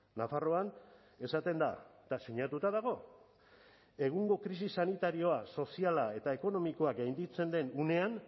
nafarroan esaten da eta sinatuta dago egungo krisi sanitarioa soziala eta ekonomikoa gainditzen den unean